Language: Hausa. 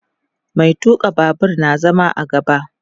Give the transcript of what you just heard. Mai tuka Babur na zama a gaba